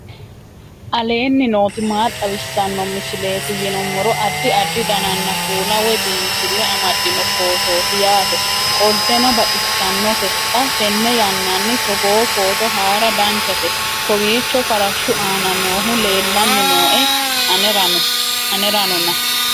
aleenni nooti maa xawisanno misileeti yinummoro addi addi dananna kuula woy biinsille amaddino footooti yaate qoltenno baxissannote xa tenne yannanni togoo footo haara danchate kowiicho farashshu aana noohu leellanni nooe aneranona